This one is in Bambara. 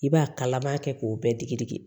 I b'a kala a b'a kɛ k'o bɛɛ digi digi